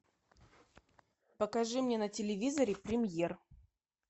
покажи мне на телевизоре премьер